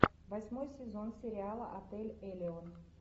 восьмой сезон сериала отель элион